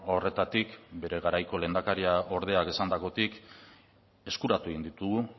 horretatik bere garaiko lehendakariordea esandakotik eskuratu egin ditugu